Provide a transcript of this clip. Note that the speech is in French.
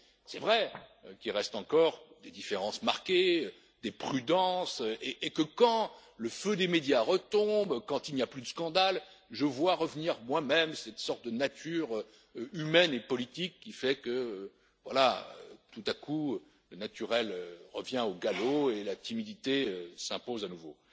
C'est vrai qu'il reste encore des différences marquées, des prudences, et que, quand le feu des médias retombe, quand il n'y a plus de scandale, je vois revenir moi même cette sorte de nature humaine et politique qui fait que, tout à coup, le naturel revient au galop et la timidité s'impose à nouveau.